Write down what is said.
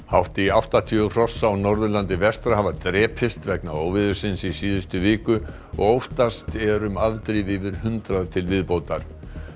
hátt í áttatíu hross á Norðurlandi vestra hafa drepist vegna óveðursins í síðustu viku og óttast er um afdrif yfir hundrað til viðbótar